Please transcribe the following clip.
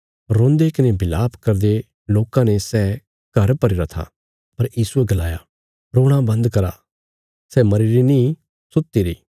रोंदे कने बिलाप करदे लोकां ने सै घर भरीगरा था पर यीशुये गलाया रोणा बंद करा सै मरीरी नीं सुतिरी